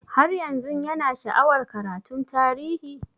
Har yanzun Yana sha'awar karatun tarihi?